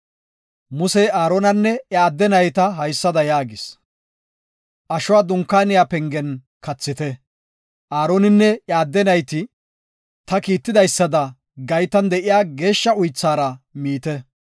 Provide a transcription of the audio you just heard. Musey Aaronanne iya adde naytako haysada yaagis; ashuwa Dunkaaniya pengen kathite; Aaroninne iya adde nayti ta kiitidaysada gaytan de7iya geeshsha uythaara miite.